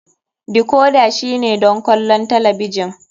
Decorder shine don kallon talabijin.